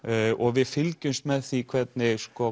við fylgjumst með því hvernig